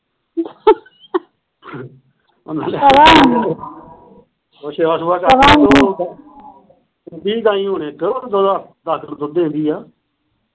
ਸੇਵਾ ਸੁਵਾ ਕਰ, ਦਿੰਦੀ ਗਾਯੀ ਹੁਣ ਇੱਕ ਦੁੱਧ ਉਹਦਾ ਦੱਸ ਕਿਲੋ ਦੁੱਧ ਦਿੰਦੀ ਆ